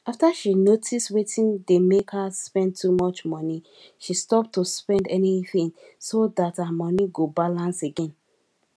after she notice wetin dey make her spend too much money she stop to spend anything so that her money go balance again